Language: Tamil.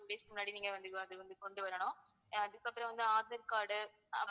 ten days க்கு முன்னாடி நீங்க அது வந்து கொண்டுவரணும் அதுக்கப்பறம் வந்து ஆதார் card